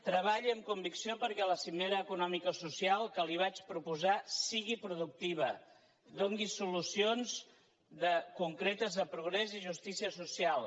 treballi amb convicció perquè la cimera economicosocial que li vaig proposar sigui productiva doni solucions concretes de progrés i justícia social